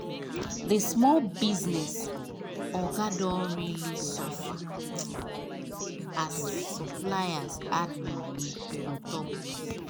the small business oga don really suffer as supplier add money on top goods